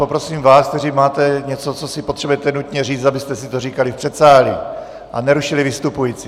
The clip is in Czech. Poprosím vás, kteří máte něco, co si potřebujete nutně říct, abyste si to říkali v předsálí a nerušili vystupující.